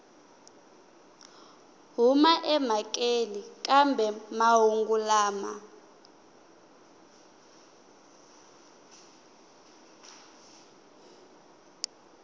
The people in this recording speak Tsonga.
huma emhakeni kambe mahungu lama